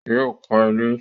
Yóò kọ́ ilé